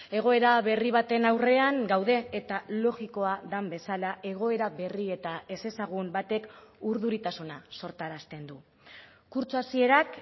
egoera berri baten aurrean gaude eta logikoa den bezala egoera berri eta ezezagun batek urduritasuna sortarazten du kurtso hasierak